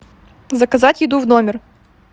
заказать еду в номер